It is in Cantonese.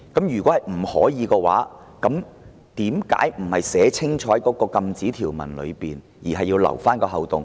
如否，為何沒有在禁止條文寫清楚，而要留下一個漏洞？